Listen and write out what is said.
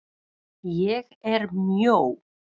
ÉG ER MJÓ.